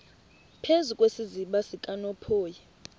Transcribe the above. phezu kwesiziba sikanophoyi